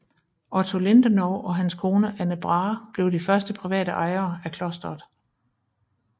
Otto Lindenov og hans kone Anne Brahe blev de første private ejere af klosteret